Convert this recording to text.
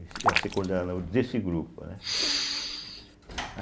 ia ser coordenador desse grupo, né.